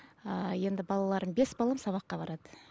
ыыы енді балаларым бес балам сабаққа барады